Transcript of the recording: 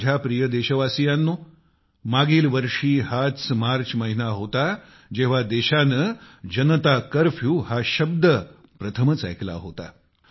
माझ्या प्रिय देशवासियांनो मागील वर्षी हाच मार्च महिना होता जेव्हा देशाने जनता कर्फ्यू हा शब्द प्रथमच ऐकला होता